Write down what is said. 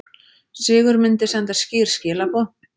Sigur myndi senda skýr skilaboð